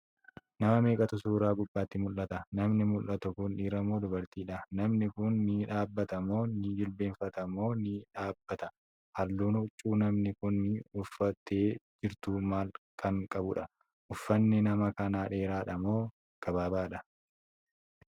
Nama meeqatu suuraa gubbaatti mul'ata?. Namni mul'atu Kuni dhiira moo dubartiidha?.namni Kuni ni dhaabata moo , ni jilbeenfata moo, ni dhaabata?.halluun huccuu namni Kuni uffattee jirtuu maal Kan qabuudha?.uffanni nama kanaa dheeraadha moo gabaabaadha?.